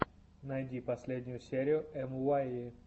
найди последнюю серию эмуайи